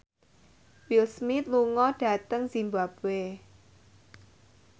Will Smith lunga dhateng zimbabwe